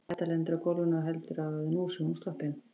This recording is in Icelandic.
Edda lendir á gólfinu og heldur að nú sé hún sloppin.